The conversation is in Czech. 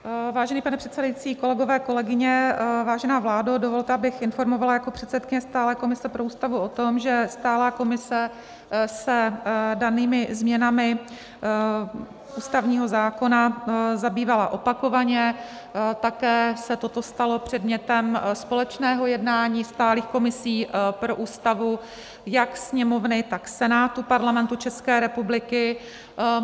Vážený pane předsedající, kolegové, kolegyně, vážená vládo, dovolte, abych informovala jako předsedkyně stálé komise pro Ústavu o tom, že stálá komise se danými změnami ústavního zákona zabývala opakovaně, také se toto stalo předmětem společného jednání stálých komisí pro Ústavu jak Sněmovny, tak Senátu Parlamentu České republiky.